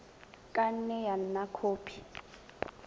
ka nne ya nna khopi